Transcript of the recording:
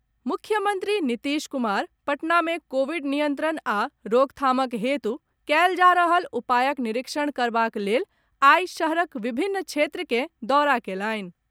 मुख्यमंत्री नीतीश कुमार पटना मे कोविड नियंत्रण आ रोकथामक हेतु कयल जा रहल उपायक निरीक्षण करबाक लेल आई शहरक विभिन्न क्षेत्र के दौरा कयलनि।